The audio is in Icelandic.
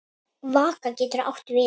Vaka getur átt við um